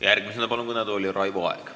Järgmisena palun kõnetooli Raivo Aegi.